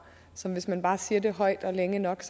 så hvis man bare siger det højt og længe nok